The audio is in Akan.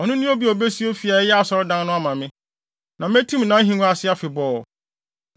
Ɔno ne obi a obesi fi a ɛyɛ asɔredan no ama me. Na metim nʼahengua ase afebɔɔ.